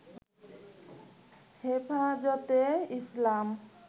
হেফাজতে ইসলাম